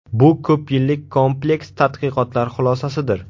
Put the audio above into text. Bu ko‘p yillik kompleks tadqiqotlar xulosasidir.